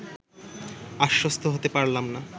আশ্বস্ত হতে পারলাম না